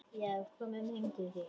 Já, komum heim til þín.